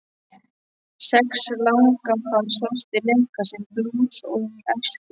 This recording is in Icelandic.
Sex langafar svartir leika sama blús og í æsku.